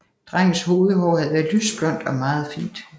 Drengens hovedhår havde været lysblondt og meget fint